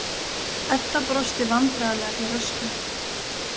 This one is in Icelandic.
Edda brosti vandræðalega til Röskvu.